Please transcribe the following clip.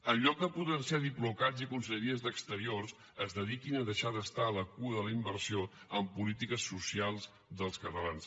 en lloc de potenciar diplocats i conselleries d’exteriors es dediquin a deixar d’estar a la cua de la inversió en polítiques socials dels catalans